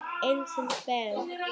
Einars Ben.